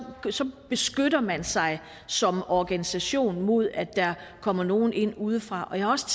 beskytter man sig som organisation mod at der kommer nogen ind udefra jeg har også